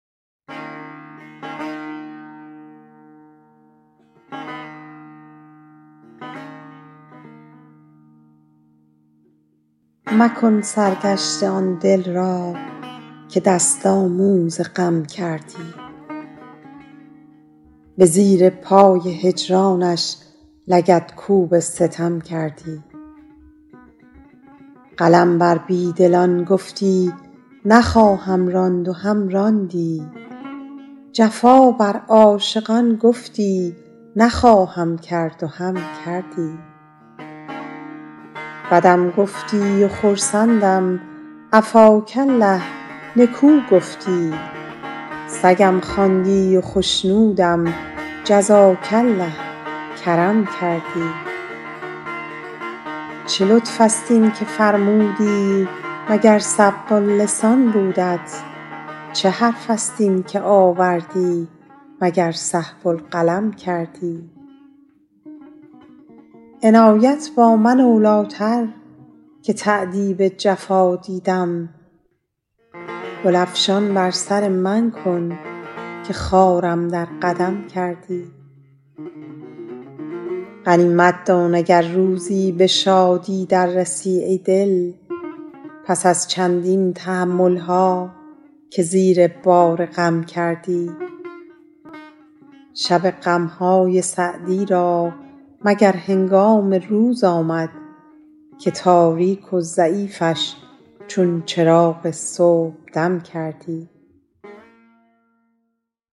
مکن سرگشته آن دل را که دست آموز غم کردی به زیر پای هجرانش لگدکوب ستم کردی قلم بر بی دلان گفتی نخواهم راند و هم راندی جفا بر عاشقان گفتی نخواهم کرد و هم کردی بدم گفتی و خرسندم عفاک الله نکو گفتی سگم خواندی و خشنودم جزاک الله کرم کردی چه لطف است این که فرمودی مگر سبق اللسان بودت چه حرف است این که آوردی مگر سهو القلم کردی عنایت با من اولی تر که تأدیب جفا دیدم گل افشان بر سر من کن که خارم در قدم کردی غنیمت دان اگر روزی به شادی در رسی ای دل پس از چندین تحمل ها که زیر بار غم کردی شب غم های سعدی را مگر هنگام روز آمد که تاریک و ضعیفش چون چراغ صبحدم کردی